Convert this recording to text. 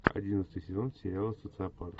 одиннадцатый сезон сериала социопат